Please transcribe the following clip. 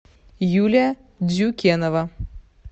юлия дзюкенова